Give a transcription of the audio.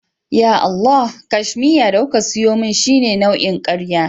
Ya Allah! cashmiya da kuka siyo min shine nau'in karya